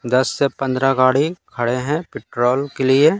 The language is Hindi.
दस से पन्द्रा गाड़ी खड़े हैं पेट्रोल के लिए--